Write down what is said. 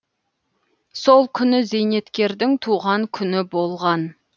сол күні зейнеткердің туған күні болған